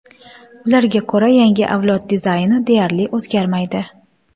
Ularga ko‘ra, yangi avlod dizayni deyarli o‘zgarmaydi.